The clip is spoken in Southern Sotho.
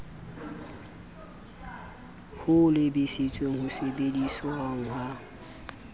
ho lebisitseng ho sebedisweng ha